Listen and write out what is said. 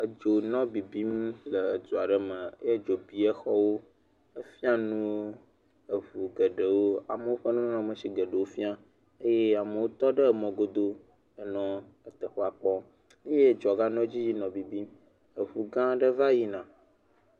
Edzo nɔ bibim le xɔ aɖe ame eye edzo bi exɔwo. Efia nuwo eʋu geɖewo ƒe nɔnɔme si geɖewo fĩa eye amewo tɔ ɖe emɔ godoo nɔ teƒea kpɔm eye dzoa ga nɔ edzi yim nɔ bibim. Eʋu gã aɖe va yina.